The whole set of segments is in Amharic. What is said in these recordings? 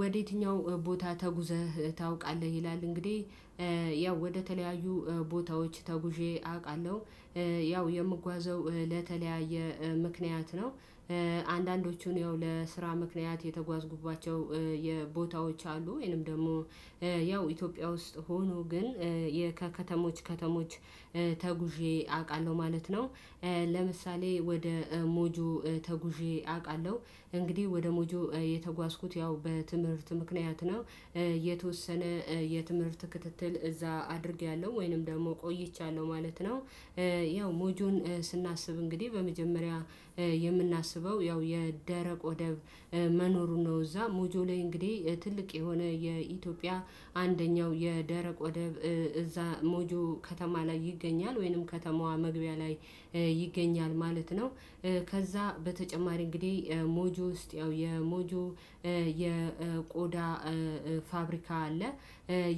ወደ የትኛው ቦታ ተጉዘህ ታውቃለህ? ይላል እንግዲህ ያው ወደተለያዩ ቦታዎች ተጉዤ አውቃለሁ ያው የምጓዘው ለተለያየ ምክንያት ነው። አንዳንዶቹን ያው ለስራ ምክንያት የተጓዝኩባቸው የቦታዎች አሉ ወይንም ደግሞ ያው ኢትዮጵያ ውስጥ ሆኖ ግን ከከተሞች ከተሞች ተጉዤ አውቃለሁ ማለት ነው። ለምሳሌ ወደ ሞጁ ተጉዤ አውቃለሁ። እንግዲህ ወደ ሞጁ የተጓዝኩት ያው በትምህርት ምክንያት ነው። የተወሰነ የትምህርት ክትትል እዛ አድርጌያለሁ ወይንም ደግሞ ቆይቻለሁ ማለት ነው። ያው ሞጆን ስናስብ እንግዲህ በመጀመሪያ የምናስበው ያው የደረቅ ወደብ መኖሩ ነው። እዛ ሞጆ ላይ እንግዲህ ትልቅ የሆነ የኢትዮጵያ አንደኛው የደረቅ ወደብ እዛ ሞጆ ከተማ ላይ ይገኛል ወይንም ከተማዋ መግቢያ ላይ ይገኛል ማለት ነው። ከዛ በተጨማሪ እንግዲህ ሞጆ ውስጥ ያው የሞጆ የቆዳ ፋብሪካ አለ።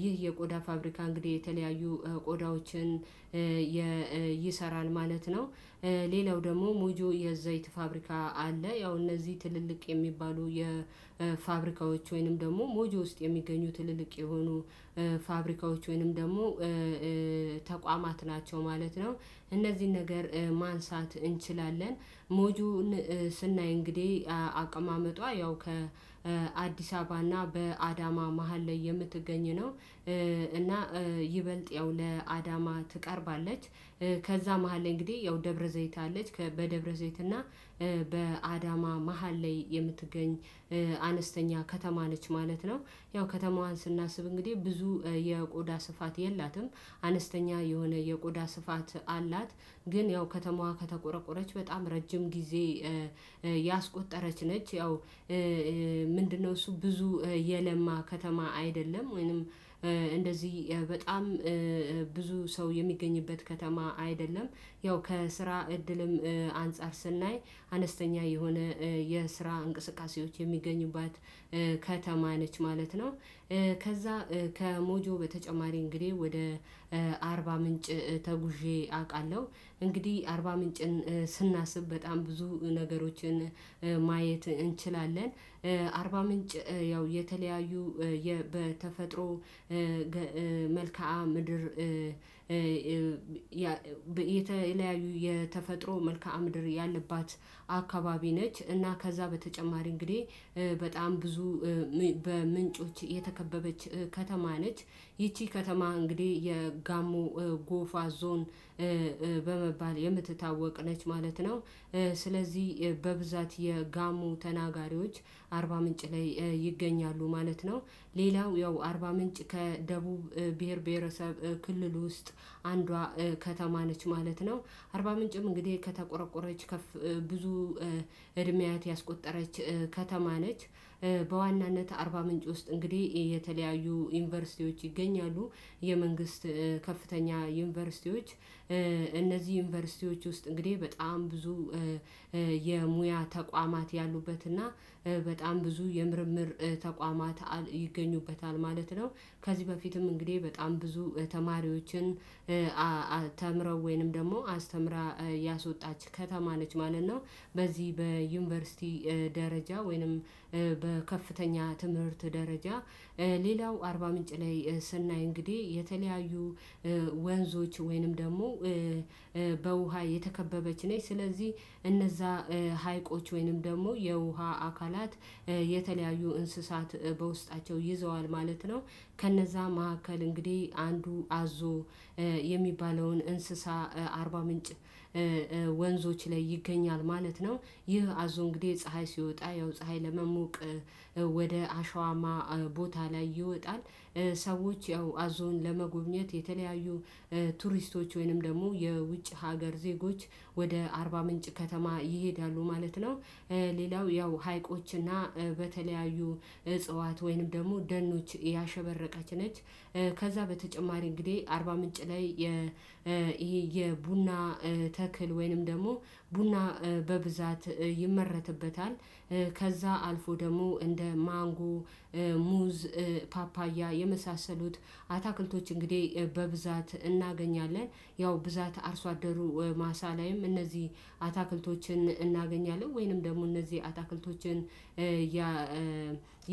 ይህ የቆዳ ፋብሪካ እንግዲህ የተለያዩ ቆዳዎችን ይሰራል ማለት ነው። ሌላው ደግሞ ሞጆ የዘይት ፋብሪካ አለ ያው እነዚህ ትልልቅ የሚባሉ የፋብሪካዎች ወይንም ደግሞ ሞጆ ውስጥ የሚገኙ ትልልቅ የሆኑ ፋብሪካዎች ወይንም ደግሞ ተቋማት ናቸው ማለት ነው። እነዚህን ነገር ማንሳት እንችላለን። ሞጆን ስናይ እንግዲህ አቀማመጧ ያው ከአዲስ አበባና በአዳማ መሃል ላይ የምትገኝ ነው። እና ይበልጥ ያው ለአዳማ ትቀርባለች ከዛ መሃል ላይ እንግዲህ ያው ደብረ ዘይት አለች በደብረ ዘይት እና በአዳማ መሃል ላይ የምትገኝ አነስተኛ ከተማ ነች ማለት ነው። ያው ከተማዋን ስናስብ እንግዲህ ብዙ የቆዳ ስፋት የላትም አነስተኛ የሆነ የቆዳ ስፋት አላት ግን ያው ከተማዋ ከተቆረቆረች በጣም ረጅም ጊዜ ያስቆጠረች ነች ያው። ምንድነው እሱ ብዙ የለማ ከተማ አይደለም። ወይንም እንደዚህ በጣም ብዙ ሰው የሚገኝበት ከተማ አይደለም። ያው ከስራ እድልም አንፃር ስናይ አነስተኛ የሆነ የስራ እንቅስቃሴዎች የሚገኙባት ከተማ ነች ማለት ነው። ከዛ ከሞጆ በተጨማሪ እንግዲህ ወደ አርባ ምንጭ ተጉዤ አውቃለሁ። እንግዲህ አርባ ምንጭን ስናስብ በጣም ብዙ ነገሮችን ማየት እንችላለን። አርባ ምንጭ ያው የተለያዩ በተፈጥሮ መልከአ ምድር የተለያዩ የተፈጥሮ መልካም ምድር ያለባት አካባቢ ነች። እና ከዛ በተጨማሪ እንግዲህ በጣም ብዙ በምንጮች የተከበበች ከተማ ነች ይቺ ከተማ እንግዲህ የጋሞ ጎፋ ዞን በመባል የምትታወቅ ነች ማለት ነው። ስለዚህ በብዛት የጋሞ ተናጋሪዎች አርባ ምንጭ ላይ ይገኛሉ ማለት ነው። ሌላው ያው አርባ ምንጭ ከደቡብ ብሄር ብሄረሰብ ክልል ውስጥ አንዷ ከተማ ነች ማለት ነው። አርባ ምንጭም እንግዲህ ከተቆረቆረች ብዙ እድሜያት ያስቆጠረች ከተማ ነች። በዋናነት አርባ ምንጭ ውስጥ እንግዲህ የተለያዩ ዩኒቨርሲቲዎች ይገኛሉ። የመንግስት ከፍተኛ ዩኒቨርሲቲዎች እነዚህ ዩኒቨርሲቲዎች ውስጥ እንግዲህ በጣም ብዙ የሙያ ተቋማት ያሉበት እና በጣም ብዙ የምርምር ተቋማት ይገኙበታል ማለት ነው። ከዚህ በፊትም እንግዲህ በጣም ብዙ ተማሪዎችን ተምረው ወይንም ደግሞ አስተምራ ያወጣች ከተማ ነች ማለት ነው። በዚህ በዩኒቨርሲቲ ደረጃ ወይንም በከፍተኛ ትምህርት ደረጃ ሌላው አርባ ምንጭ ላይ ስናይ እንግዲህ የተለያዩ ወንዞች ወይንም ደግሞ በውሃ የተከበበች ነች። ስለዚህ እነዛ ሀይቆች ወይንም ደግሞ የውሃ አካላት የተለያዩ እንስሳት በውስጣቸው ይዘዋል ማለት ነው። ከነዛ መካከል እንግዲህ አንዱ አዞ የሚባለውን እንስሳ አርባ ምንጭ ወንዞች ላይ ይገኛል ማለት ነው። ይህ አዞ እንግዲህ ፀሀይ ሲወጣ ያው ፀሀይ ለመሞቅ ወደ አሸዋማ ቦታ ላይ ይወጣል። ሰዎች ያው አዞን ለመጎብኘት የተለያዩ ቱሪስቶች ወይንም ደግሞ የውጭ ሀገር ዜጎች ወደ አርባ ምንጭ ከተማ ይሄዳሉ ማለት ነው። ሌላው ያው ሀይቆችና በተለያዩ እጽዋት ወይንም ደግሞ ደኖች ያሸበረቀች ነች። ከዛ በተጨማሪ እንግዲህ አርባ ምንጭ ላይ ይሄ የቡና ተክል ወይንም ደግሞ ቡና በብዛት ይመረትበታል። አልፎ ደግሞ እንደ ማንጎ ሙዝ ፓፓያ የመሳሰሉት አታክልቶች እንግዲህ በብዛት እናገኛለን። ያው ብዛት አርሶ አደሩ ማሳ ላይም እነዚህ አታክልቶችን እናገኛለን ወይንም ደግሞ እነዚህ አታክልቶችን ያ